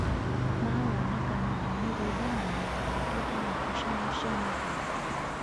ma wonekani wa mĩgũnda na maita mangĩ nginya ngucanio cia mĩgũnda.